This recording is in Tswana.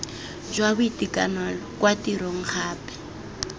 jwa boitekanelo kwa tirong gape